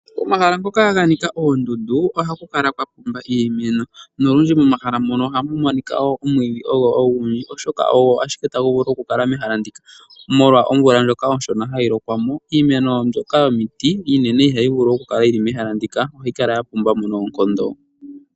Pomahala mpoka mpwa nika oondundu ohapa kala twapumba iimeno. Olundji omwiidhi ogo hagu kala ogundji oshoka ogo ashike tagu vulu okukala mehala ndika molwa omvula ndjoka onshona hayi lokwa mo. Iimeno mbyoka iinene yomiti ihayi vulu okukala yili mehala muka, ohayi kala yapumbamo noonkondo.